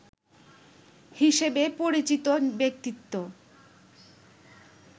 হিসেবে পরিচিত ব্যক্তিত্ব